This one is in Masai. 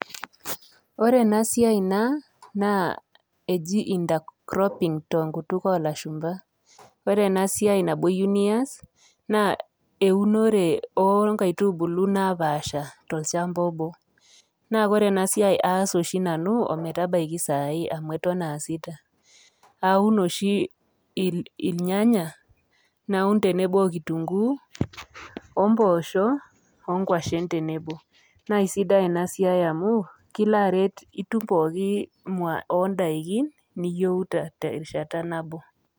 Ore ena siai naa naa eji intercropping te nkutuk olashumba, ore ena siai nabo iyeu nias naa eunore o nkaitubulu napaasha tolchamba obo. Na ore ena siai aas oshi nanu ometabaiki saai amu eton aasita, aun oshi irnyanya naun tenebo o kitunguu o mboosho o nkwashen tenebo. Naake sidai ina siai amu kilo aret nitum pookin mua o ndaikin niyeu te rishata nabo.